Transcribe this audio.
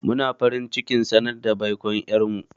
Muna farin cikin sanar da baikon ƴar mu.